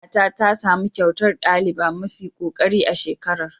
Ƙanwata tasamu kyautar ɗaliba mafi kokari a shekarar.